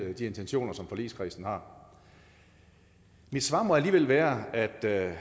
de intentioner som forligskredsen har mit svar må alligevel være at